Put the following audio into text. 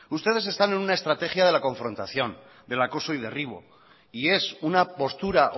ustedes están en una estrategia de la confrontación del acoso y derribo y es una postura